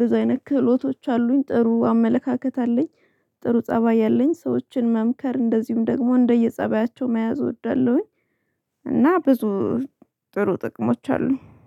ብዙ አይነት ክህሎቶች አሉኝ ጥሩ አመለካከት አለኝ። ጥሩ ፀባይ አለኝ ሰዎችን መምከር እንደዚሁም ደግሞ እንደየ ፀባያቸው መያዝ እወዳለሁኝ። እና ብዙ ጥሩ ጥቅሞች አሉኝ